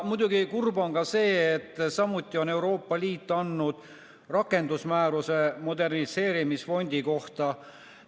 Muidugi on kurb ka see, et samuti on Euroopa Liit andnud rakendusmääruse moderniseerimisfondi kohta.